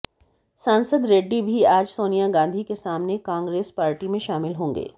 सांसद रेड्डी भी आज सोनिया गांधी के सामने कांग्रेस पार्टी में शामिल होगे